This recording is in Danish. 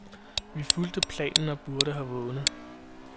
Vi fulgte planen, og burde have vundet.